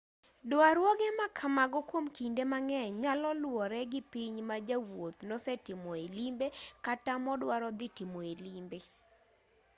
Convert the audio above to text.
duarruoge ma kamago kwom kinde mang'eny nyalo luwore gi piny ma jawuoth nosetimoe limbe kata moduaro dhi timoe limbe